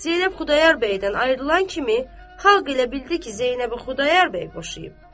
Zeynəb Xudayar bəydən ayrılan kimi xalq elə bildi ki, Zeynəbi Xudayar bəy boşayıb.